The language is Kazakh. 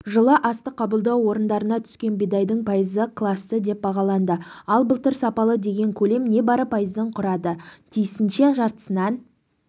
жылы астық қабылдау орындарына түскен бидайдың пайызы класты деп бағаланды ал былтыр сапалы деген көлем не бары пайызды құрады тиісінші жартысынан